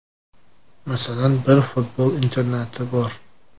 Masalan, bir futbol internati bor.